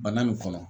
Bana nin kɔnɔ